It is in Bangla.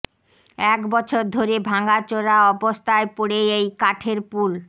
এক বছর ধরে ভাঙাচোরা অবস্থায় পড়ে এই কাঠের পুল